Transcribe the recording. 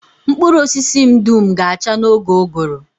Mkpụrụ osisi m dum ga-acha n'oge ụgụrụ